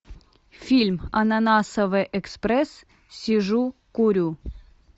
фильм ананасовый экспресс сижу курю